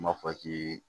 N b'a fɔ k'i